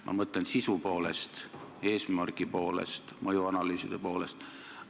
Ma mõtlen sisu poolest, eesmägi poolest, mõjuanalüüside poolest.